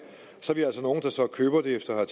så vi er altså nogle der så køber det efter at